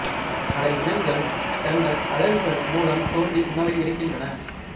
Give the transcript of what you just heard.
பல இனங்கள் தங்கள் அலகுகள் மூலம் தோண்டி உணவை எடுக்கின்றன